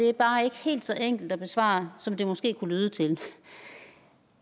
er bare ikke helt så enkelt at besvare som det måske kunne lyde til